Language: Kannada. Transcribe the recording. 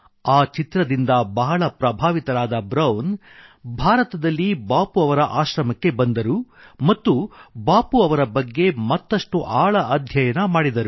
ಈ ಚಿತ್ರದಿಂದ ಬಹಳ ಪ್ರಭಾವಿತನಾದ ಬ್ರೌನ್ ಭಾರತದಲ್ಲಿ ಬಾಪು ಅವರ ಆಶ್ರಮಕ್ಕೆ ಬಂದರು ಮತ್ತು ಬಾಪು ಅವರ ಬಗ್ಗೆ ಮತ್ತಷ್ಟು ಆಳ ಅಧ್ಯಯನ ಮಾಡಿದರು